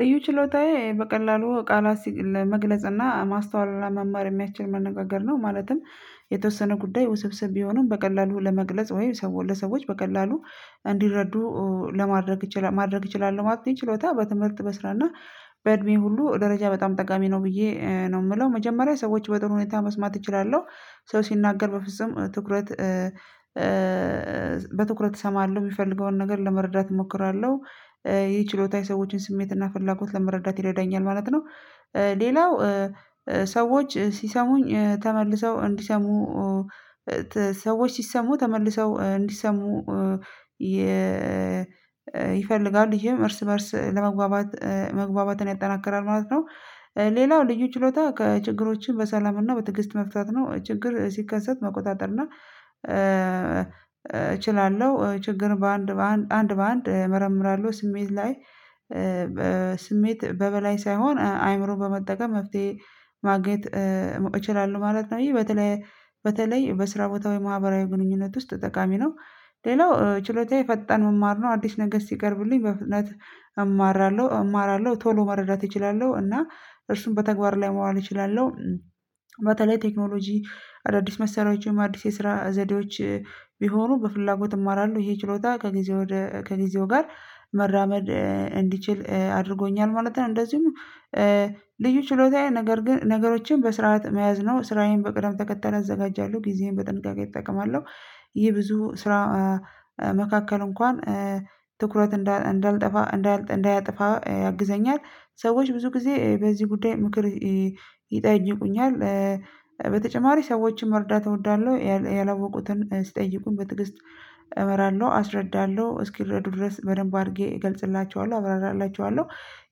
ልዩ ችሎታዬ በቀላሉ ቃላት ለመግለጽ እና ማስተዋል ለመማር የሚያችል መነጋገር ነው ማለትም የተወሰነ ጉዳይ ውስብስብ ቢሆንም በቀላሉ ለመግለጽ ወይ ለሰዎች በቀላሉ እንዲረዱ ለማድረግ ማድረግ እችላለሁ ማለት ነው። ችሎታ በትምህርት በስራ እና በእድሜ ሁሉ ደረጃ በጣም ጠቃሚ ነው ብዬ ነው የምለው መጀመሪያ ሰዎች በጥሩ ሁኔታ መስማት እችላለሁ ሰው ሲናገር በፍጹም ትኩረት በትኩረት እሰማለሁ የሚፈልገውን ነገር ለመረዳት እሞክራለሁ። ይህ ችሎታ የሰዎችን ስሜትና ፍላጎት ለመረዳት ይረዳኛል ማለት ነው። ሌላው ሰዎች ሲሰሙኝ ተመልሰው እንዲሰሙ ሰዎች ሲሰሙ ተመልሰው እንዲሰሙ ይፈልጋል ይሄም እርስ በእርስ ለመግባባት መግባባትን ያጠናከራል ማለት ነው። ሌላው ልዩ ችሎታ ከችግሮችን በሰላምና በትግስት መፍታት ነው። ችግር ሲከሰት መቆጣጠርና እና እችላለሁ ችግር በአንድ በአንድ አንድ በአንድ እመርምራለሁ ስሜት ላይ ስሜት በበላይ ሳይሆን አይምሮን በመጠቀም መፍትሄ ማግኘት እችላለሁ ማለት ነው። ይሄ በተለይ በተለይ በስራ ቦታ ወይም ማህበራዊ ግንኙነት ውስጥ ጠቃሚ ነው። ሌላው ችሎታዬ ፈጠን መማር ነው አዲስ ነገር ሲቀርብልኝ በፍጥነት እማራለሁ እማራለሁ ቶሎ መረዳት እችላለሁ እና እርሱም በተግባር ላይ መዋል እችላለሁ። በተለይ ቴክኖሎጂ አዳዲስ መሳሪያዎች ወይም አዲስ የስራ ዘዴዎች ቢሆኑ በፍላጎት እማራለሁ ይሄ ችሎታ ከጊዜው ጋር መራመድ እንዲችል አድርጎኛል ማለት ነው። እንደዚሁም ልዩ ችሎታዬ ነገር ግን ነገሮችን በስርዓት መያዝ ነው ስራዬን በቅደም ተከተል አዘጋጃለሁ ጊዜዬን በጥንቃቄ እጠቀማለሁ። ይህ ብዙ ስራ መካከል እንኳን ትኩረት እንዳልጠፋ እንዳያጠፋ ያግዘኛል ሰዎች ብዙ ጊዜ በዚህ ጉዳይ ምክር ይጠይቁኛል። በተጨማሪ ሰዎችን መርዳት እወዳለሁ ያላወቁትን ሲጠይቁን በትግስት እብራራለሁ አስረዳለሁ እስኪረዱ ድረስ በደንብ አድርጌ እገልጽላቸዋለሁ አብራራላቸዋለሁ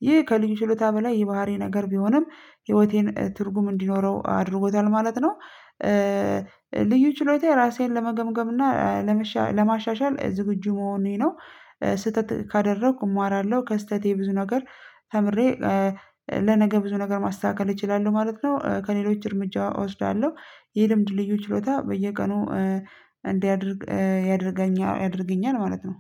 ይህ ከልዩ ችሎታ በላይ የባህሪ ነገር ቢሆንም ህይወቴን ትርጉም እንዲኖረው አድርጎታል ማለት ነው። ልዩ ችሎታየ ራሴን ለመገምገም እና ለማሻሻል ዝግጁ መሆኔ ነው። ስህተት ካደረኩ እማራለሁ ከስህተቴ ብዙ ነገር ተምሬ ለነገ ብዙ ነገር ማስተካከል እችላለሁ ማለት ነው። ከሌሎች እርምጃ እወስዳለሁ ይህ ልምድ ልዩ ችሎታ በየቀኑ እንዲያደርግ ያደርገኛል ማለት ነው።